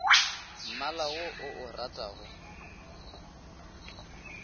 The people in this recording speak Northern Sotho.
mmala wo o o ratago